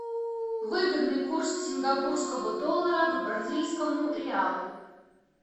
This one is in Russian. выгодный курс сингапурского доллара к бразильскому реалу